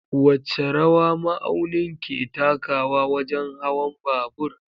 Wace rawa ma'aunin ke takawa wajen hawan babur?